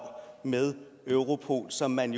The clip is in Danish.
med europol som man